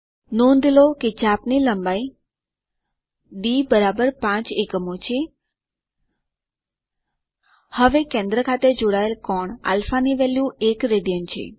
નોંધ લો કે ચાપ ની લંબાઈ ડી 5 એકમો છે અને કેન્દ્ર ખાતે જોડાયેલા કોણ α ની વેલ્યુ 1 રાડ છે